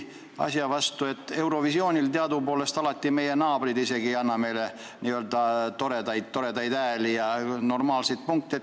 Teadupärast isegi Eurovisioonil ei anna meie naabrid meile alati n-ö toredaid hääli ega normaalseid punkte.